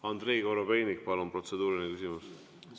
Andrei Korobeinik, palun, protseduuriline küsimus!